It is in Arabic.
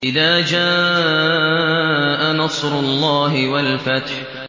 إِذَا جَاءَ نَصْرُ اللَّهِ وَالْفَتْحُ